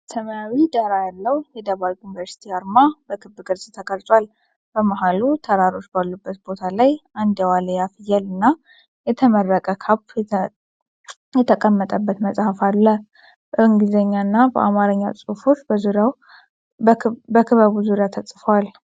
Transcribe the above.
ሰማያዊ ዳራ ያለው የደባርቅ ዩኒቨርሲቲ አርማ በክብ ቅርጽ ተቀርጿል። በመሃሉ ተራሮች ባሉበት ቦታ ላይ አንድ የዋልያ ፍየል እና የተመረቀ ካፕ የተቀመጠበት መጽሐፍ አሉ። በእንግሊዝኛ እና በአማርኛ ጽሑፎች በክበቡ ዙሪያ ተጽፈዋል።